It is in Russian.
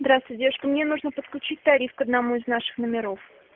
здравствуйте девушка мне нужно подключить тариф к одному из наших номеров